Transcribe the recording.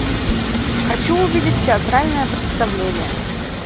хочу увидеть театральное представление